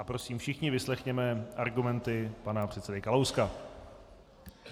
A prosím, všichni vyslechněme argumenty pana předsedy Kalouska.